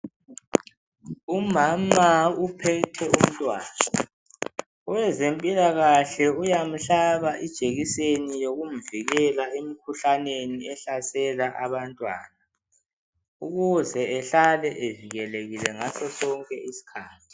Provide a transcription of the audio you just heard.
Umama uphethe umntwana, owezempilakahle uyamhlaba ijekiseni yokumvikela emkhuhlaneni ehlasela abantwana. Ukuze ehlale evikelekile ngasosonke isikhathi.